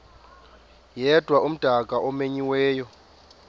yedwa umdaka omenyiweyo